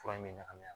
Fura in bɛ ɲagami a la